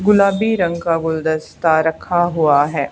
गुलाबी रंग का गुलदस्ता रखा हुआ है।